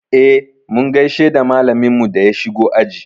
Eh, mun gaishe da malaminmu da ya shigo aji.